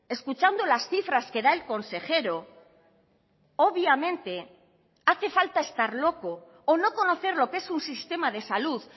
escuchando las cifras que da el consejero obviamente hace falta estar loco o no conocer lo que es un sistema de salud